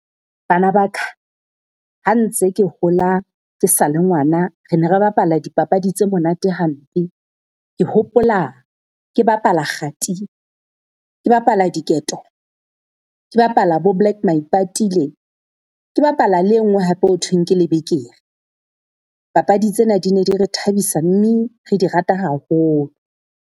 Bana ba ka, ha ntse ke hola ke sa le ngwana, re ne re bapala dipapadi tse monate hampe. Ke hopola ke bapala kgati, ke bapala diketo, ke bapala bo black maipatile, ke bapala le e nngwe hape ho thweng ke lebekere. Papadi tsena di ne di re thabisa mme re di rata haholo.